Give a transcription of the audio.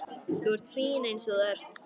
Þú ert fín eins og þú ert.